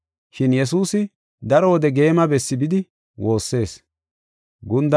Shin Yesuusi daro wode geema bessi bidi woossees.